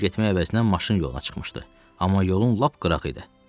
Səki ilə getmək əvəzinə maşın yoluna çıxmışdı, amma yolun lap qırağı idi.